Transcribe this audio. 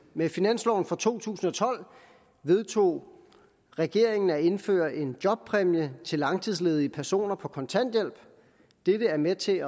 med finansloven for to tusind og tolv vedtog regeringen at indføre en jobpræmie til langtidsledige personer på kontanthjælp dette er med til